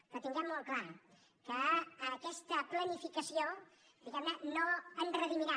però tinguem molt clar que aquesta planificació diguemne no ens redimirà